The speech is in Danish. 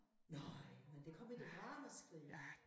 Nøj men der kom et ramaskrig